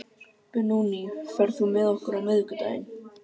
Benóný, ferð þú með okkur á miðvikudaginn?